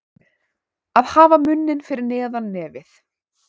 Að hafa munninn fyrir neðan nefið